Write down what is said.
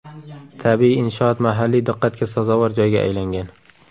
Tabiiy inshoot mahalliy diqqatga sazovor joyga aylangan.